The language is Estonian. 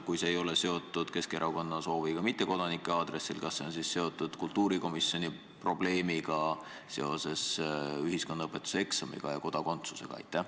Kui see ei ole seotud Keskerakonna sooviga hõlmata ka mittekodanikke, siis kas see on seotud kultuurikomisjoni probleemiga, mis on tekkinud seoses ühiskonnaõpetuse eksami ja kodakondsusega?